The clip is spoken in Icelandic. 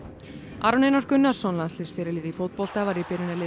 Aron Einar Gunnarsson í fótbolta var í byrjunarliði